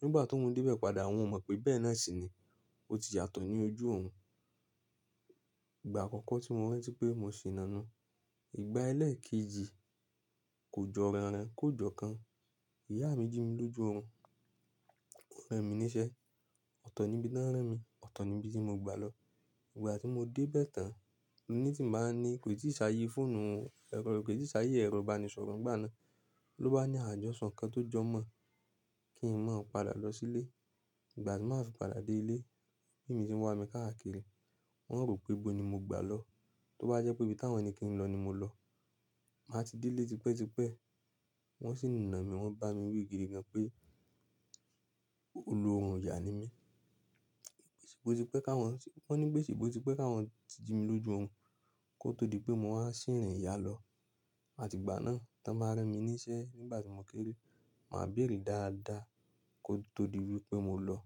Nígbà tó òún dé bẹ̀ padà, òún ò mọ̀ pé ìbẹ̀ náà sì ni. Ó ti yàtọ̀ ní ojú òun. Ìgbà àkọ́kọ́ tí mo rántí pé mo ṣìnà nu, ìgbà ẹlèèkejì kò jọ ìràn-ràn kò jọ ikán. Ìyá mi jí mi lójú òun. Wòn ràn mi níṣẹ́. Ọ̀tọ̀ ni bí tàn rán mi, ọ̀tọ̀ ni bí tí mo gbà lọ. Ìgbà tí mo dé bẹ̀ tán, ẹni tí màá ń ní kò ì tíì ṣàyè fóònù rẹ̀, kò ì tíì ṣàyè ẹ̀rọ ìbánisọrọ nígbà náà ló bá ní àjọṣọ̀ kan tó jọmọ́ kí n má padà lọ sílé. Ìgbà tí màá fi padà dé ilé, mummy mi tí ń wá mi káàkiri, wọ́n ó rò pé ibo ni mo gbà lọ. Tó bá jẹ́ pé ibi táwọn ẹni kí n lọ ni mo lọ. Màá ti dé ilé tipẹ́tipẹ́. Wọ́n sì nà mí, wọ́n bá mi wí gidi gan pé olọ́run ìyà ni mí. Wọ́n ní pé ṣebọ̀tipẹ́ káwọn jí mi lójú orun kó tó di pé mo wáa ṣì rìn ìyá lọ. A tígbà náà, t'ọ́n bá rán mi níṣẹ́ nígbà tí mo kéré, màá bèrè dáadáa kó tó di wípé mo lọ̀.